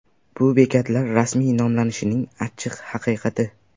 Bu bekatlar rasmiy nomlanishining achchiq haqiqati.